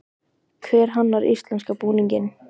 Hver hannar íslenska búninginn?